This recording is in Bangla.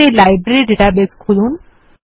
আমাদের লাইব্রেরী ডাটাবেস খুলুন